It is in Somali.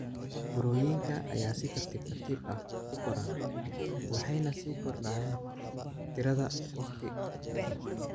Burooyinka ayaa si tartiib tartiib ah u koraan waxayna sii kordhayaan tirada waqti ka dib.